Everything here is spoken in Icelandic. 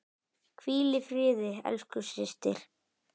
Hvíl í friði, elsku systir.